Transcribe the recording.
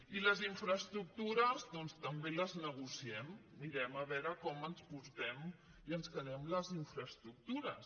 i les infraestructures doncs també les negociem mirem a veure com ens portem i ens quedem les infraestructures